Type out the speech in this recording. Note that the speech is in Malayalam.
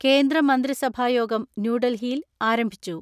കേന്ദ്രമന്ത്രിസഭായോഗം ന്യൂഡൽഹിയിൽ ആരംഭിച്ചു.